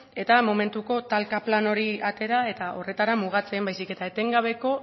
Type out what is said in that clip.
eta momentuko talka plana hori atera eta horretara mugatzen baizik eta etengabeko